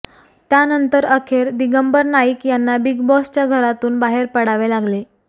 त्यानंतर अखेर दिंगबर नाईक यांना बिग बॉसच्या घरातून बाहेर पडावे लागले